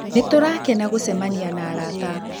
Nĩtũrakena gũcemanĩa na arata